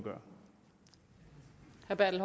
at det